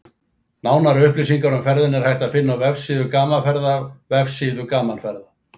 Nánari upplýsingar um ferðina er hægt að finna á vefsíðu Gaman Ferða-vefsíðu Gaman ferða